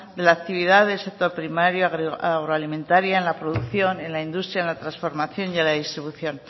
de la actividad del sector primario agroalimentaria en la producción en la industria en la transformación y en la distribución